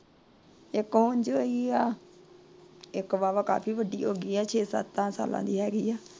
ਇੱਕ ਹੁਣ ਦੀ ਹੋਇ ਏ। ਇੱਕ ਵਾਹਵਾ ਕਾਫੀ ਵੱਡੀ ਹੋ ਗਈ ਏ ਛੇ ਸੱਤ ਸਾਲਾਂ ਦੀ ਹੇਗੀ ਏ ।